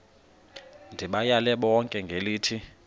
ndibayale bonke ngelithi